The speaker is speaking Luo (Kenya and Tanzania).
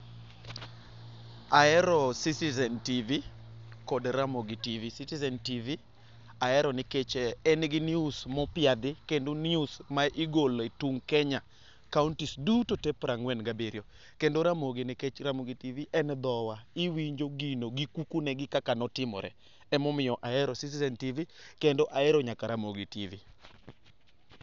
Ahero Citizen tv kod Ramogi tv, Citizen tv ahero nikech en gi news mopiedhi kendo news ma igolo e tung Kenya kaunti piero ang'wen gi abiriyo. Kendo Ramogi tv nikech Ramogi tv en dhowa iwinjo gino gi kuku ne, gi kaka ne otimore emomiyo Citizen tv kendo ahero nyaka Ramogi tv.